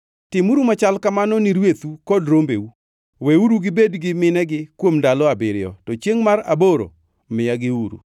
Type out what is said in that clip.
Timuru machal kamano ni rwethu kod rombeu. Weuru gibed gi minegi kuom ndalo abiriyo, to chiengʼ mar aboro miyagiuru.